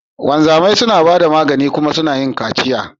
Wanzamai suna ba da magani kuma suna yin kaciya.